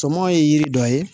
Sɔmɔ ye yiri dɔ ye